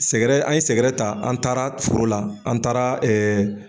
Sɛgɛrɛ an ye sɛgɛrɛ ta an taara foro la an taara ɛɛ